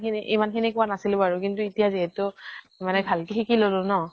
খিনি ইমান খিনি কোৱা নাছিলো বাৰু । কিন্তু এতিয়া যিহেতু মানে ভাল কে শিকি লʼলো ন ?